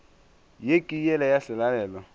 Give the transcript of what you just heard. ye ke yela ya selalelo